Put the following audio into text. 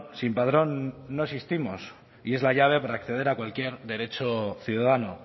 sin padrón no existimos y es la llave para acceder a cualquier derecho ciudadano